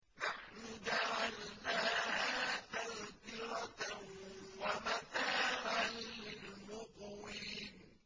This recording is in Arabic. نَحْنُ جَعَلْنَاهَا تَذْكِرَةً وَمَتَاعًا لِّلْمُقْوِينَ